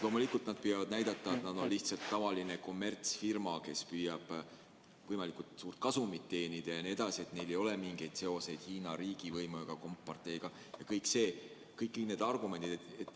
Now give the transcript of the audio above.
Loomulikult nad püüavad näidata, et nad on lihtsalt tavaline kommertsfirma, kes püüab võimalikult suurt kasumit teenida jne, neil ei ole mingeid seoseid Hiina riigivõimu ega komparteiga ja kõik need argumendid.